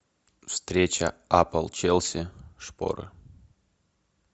встреча апл челси шпоры